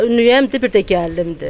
Ümüyəm, bir də gəlinimdir.